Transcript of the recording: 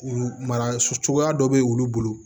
Mara so cogoya dɔ bɛ wulu bolo